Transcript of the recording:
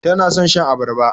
Tana son shan abarba.